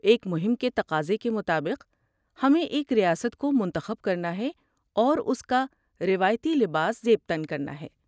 ایک مہم کے تقاضے کے مطابق، ہمیں ایک ریاست کو منتخب کرنا ہے اور اس کا روایتی لباس زیب تن کرنا ہے۔